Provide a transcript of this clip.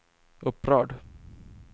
upprörd